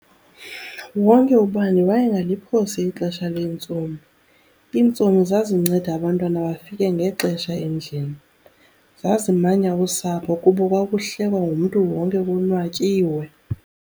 Wonke ubani wayengaliphosi ixesha lentsomi. Iintsomi zazinceda abantwana bafike ngexesha endlini. Zazimanya usapho kuba kwakuhlekwa ngumntu wonke konwatyiwe.